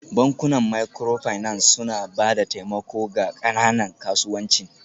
Bankunan Microfinance suna ba da taimako ga ƙananan kasuwancin